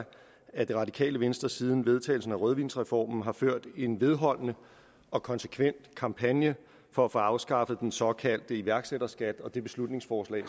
at det radikale venstre siden vedtagelsen af rødvinsreformen har ført en vedholdende og konsekvent kampagne for at få afskaffet den såkaldte iværksætterskat og det beslutningsforslag